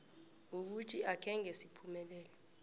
ukuthi akhange siphumelele